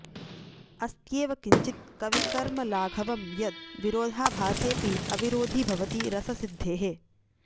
अस्त्येव किंचित् कविकर्मलाघवं यद् विरोधाभासेऽपि अविरोधि भवति रससिद्धेः